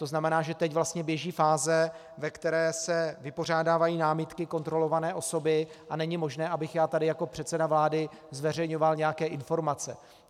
To znamená, že teď vlastně běží fáze, ve které se vypořádávají námitky kontrolované osoby a není možné, abych já tady jako předseda vlády zveřejňoval nějaké informace.